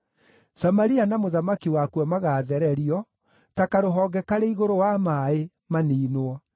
Samaria na mũthamaki wakuo magaathererio ta karũhonge karĩ igũrũ wa maaĩ, maniinwo.